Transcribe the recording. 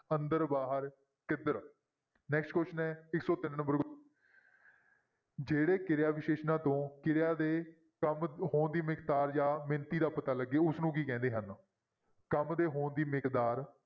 ਅੰਦਰ, ਬਾਹਰ, ਕਿੱਧਰ next question ਹੈ ਇੱਕ ਸੌ ਤਿੰਨ number ਜਿਹੜੇ ਕਿਰਿਆ ਵਿਸ਼ੇਸ਼ਣਾਂ ਤੋਂ ਕਿਰਿਆ ਦੇ ਕੰਮ ਹੋਣ ਦੀ ਮਿਗਦਾਰ ਜਾਂ ਮਿਣਤੀ ਦਾ ਪਤਾ ਲੱਗੇ, ਉਸਨੂੰ ਕੀ ਕਹਿੰਦੇ ਹਨ ਕੰਮ ਦੇ ਹੋਣ ਦੀ ਮਿਗਦਾਰ